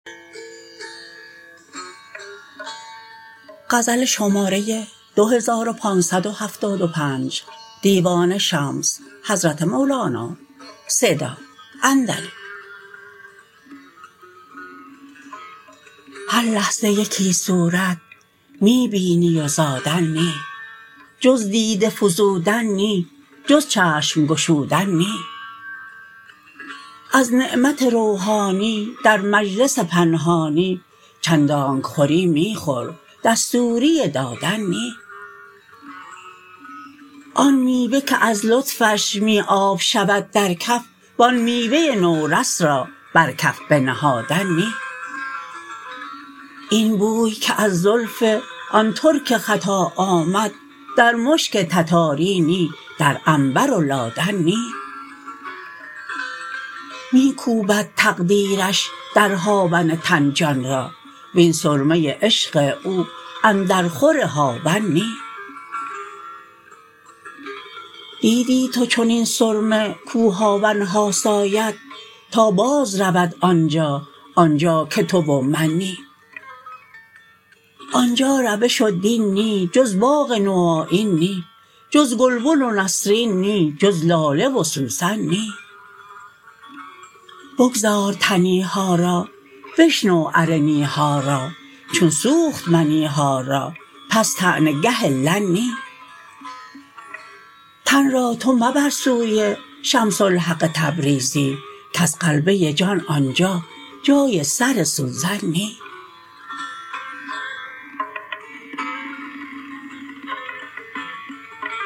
هر لحظه یکی صورت می بینی و زادن نی جز دیده فزودن نی جز چشم گشودن نی از نعمت روحانی در مجلس پنهانی چندانک خوری می خور دستوری دادن نی آن میوه که از لطفش می آب شود در کف و آن میوه نورش را بر کف بنهادن نی این بوی که از زلف آن ترک خطا آمد در مشک تتاری نی در عنبر و لادن نی می کوبد تقدیرش در هاون تن جان را وین سرمه عشق او اندرخور هاون نی دیدی تو چنین سرمه کو هاون ها ساید تا بازرود آن جا آن جا که تو و من نی آن جا روش و دین نی جز باغ نوآیین نی جز گلبن و نسرین نی جز لاله و سوسن نی بگذار تنی ها را بشنو ارنی ها را چون سوخت منی ها را پس طعنه گه لن نی تن را تو مبر سوی شمس الحق تبریزی کز غلبه جان آن جا جای سر سوزن نی